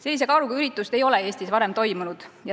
Sellise kaaluga üritust ei ole Eestis varem toimunud.